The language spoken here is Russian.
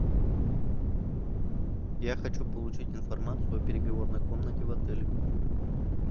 я хочу получить информацию о переговорной комнате в отеле